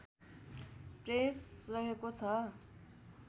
press रहेको छ